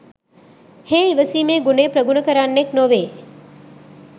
හේ ඉවසීමේ ගුණය ප්‍රගුණ කරන්නෙක් නොවේ.